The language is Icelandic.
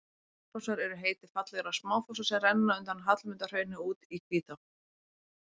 Hraunfossar er heiti fallegra smáfossa sem renna undan Hallmundarhrauni út í Hvítá.